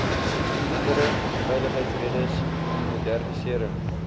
andere veiligheidsredes modernisering